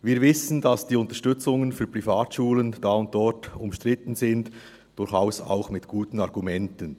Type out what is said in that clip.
Wir wissen, dass diese Unterstützungen da und dort umstritten sind – durchaus auch mit guten Argumenten.